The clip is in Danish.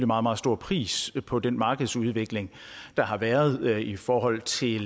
meget meget stor pris på den markedsudvikling der har været i forhold til